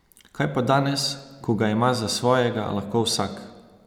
Kaj pa danes, ko ga ima za svojega lahko vsak?